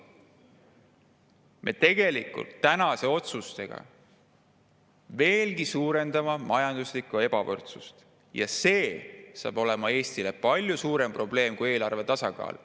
Me tänaste otsustega suurendame majanduslikku ebavõrdsust veelgi ja see saab olema Eesti jaoks palju suurem probleem kui eelarve tasakaal.